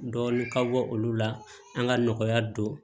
Dɔɔnin ka bɔ olu la an ka nɔgɔya don